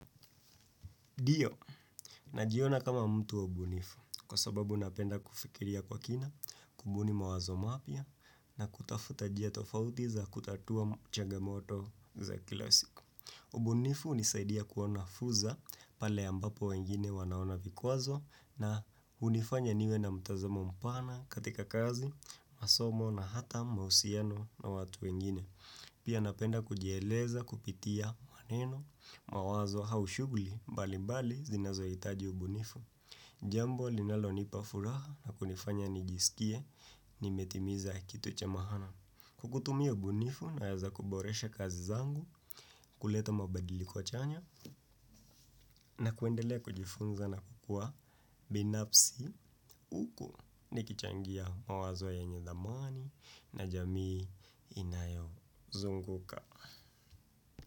Ndio, najiona kama mtu wa ubunifu kwa sababu napenda kufikiria kwa kina, kubuni mawazo mapya na kutafuta njia tofauti za kutatua changamoto za kila siku. Ubunifu hunisaidia kuona fursa pale ambapo wengine wanaona vikwazo na hunifanya niwe na mtazamo mpana katika kazi, masomo na hata mahusiano na watu wengine. Pia napenda kujeleza kupitia maneno mawazo au shughuli mbalimbali zinazo hitaji ubunifu. Jambo linalo nipa furaha na kunifanya nijisikie nimetimiza kitu cha maana. Kwa kutumia ubunifu naweza kuboresha kazi zangu kuleta mabadiliko kwa chanya na kuendelea kujifunza na kukua binafsi huku. Nikichangia mawazo yenye thamani na jamii inayo zunguka.